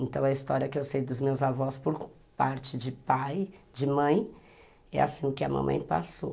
Então a história que eu sei dos meus avós por parte de pai, de mãe, é assim que a mamãe passou.